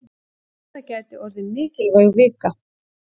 Þetta gæti orðið mikilvæg vika.